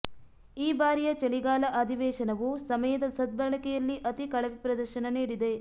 ಈ ಬಾರಿಯ ಚಳಿಗಾಲ ಅಧಿವೇಶನವು ಸಮಯದ ಸದ್ಬಳಕೆಯಲ್ಲಿ ಅತಿ ಕಳಪೆ ಪ್ರದರ್ಶನ ನೀಡಿದೆ